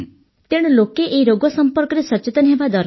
ତେଣୁ ଲୋକେ ଏହି ରୋଗ ସମ୍ପର୍କରେ ସଚେତନ ହେବା ଦରକାର